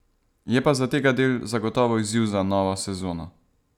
Je pa zategadelj zagotovo izziv za novo sezono.